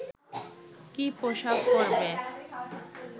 কী পোশাক পরবে